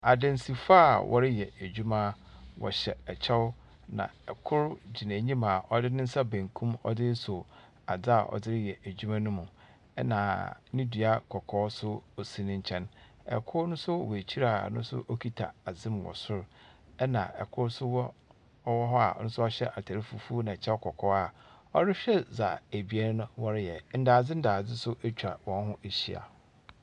Adansifoɔ a wɔreyɛ adwuma. Wɔhyɛ kyɛw na kor gyina enyim a ɔdze ne nsa benkum ɔdze resɔ adze a ɔdze reyɛ edwuma no mu, ɛnna ne dua kɔkɔɔ nso si ne nkyɛn. Kor no ns wɔ ekyir a no nso kita adze mu wɔ sor, ɛnna kor nso wɔ ɔwɔ hɔ a ɔno nso ɔhyɛ atar fufuo na kyɛw kɔkɔɔ a ɔrehwɛ dza ebien no wɔreyɛ. ndadze ndadze nso atwa hɔn ho ahyia.